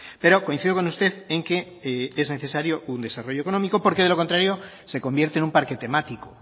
pero coincido con usted en que es necesario un desarrollo económico porque de lo contrario se convierte en un parque temático o